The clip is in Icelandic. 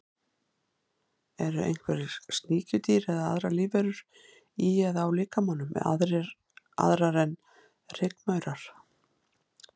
Eru einhver sníkjudýr eða aðrar lífverur í eða á líkamanum, aðrar en rykmaurar?